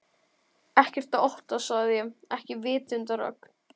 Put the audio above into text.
Ekkert að óttast sagði ég, ekki vitundarögn